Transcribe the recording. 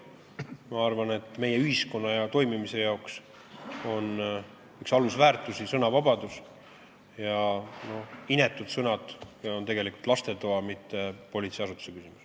Ma arvan, et meie ühiskonna hea toimimise jaoks on üks alusväärtusi sõnavabadus ja inetud sõnad on tegelikult lastetoa, mitte politseiasutuse küsimus.